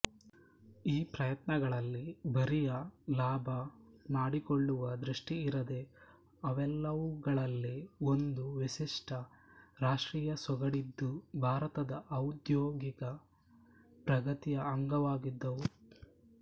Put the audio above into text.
ಈ ಪ್ರಯತ್ನಗಳಲ್ಲಿ ಬರಿಯ ಲಾಭ ಮಾಡಿಕೊಳ್ಳುವ ದೃಷ್ಟಿಯಿರದೆ ಅವೆಲ್ಲವುಗಳಲ್ಲಿ ಒಂದು ವಿಶಿಷ್ಟ ರಾಷ್ಟ್ರೀಯ ಸೊಗಡಿದ್ದು ಭಾರತದ ಔದ್ಯೋಗಿಕ ಪ್ರಗತಿಯ ಅಂಗವಾಗಿದ್ದವು